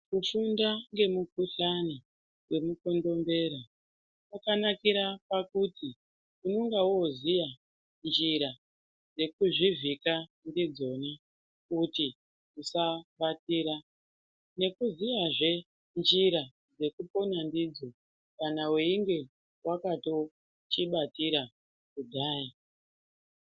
Kufunda ngemukhuhlani wemukondombera kwakanakira pakuti unonga woziya njira dzekuzvivhika ndidzoni kuti usabatira nekuziyazve njira dzekupona ndidzo kana weinge wakatochibatira kudhaya.